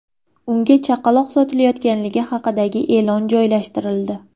Unga chaqaloq sotilayotganligi haqidagi e’lon joylashtirildi.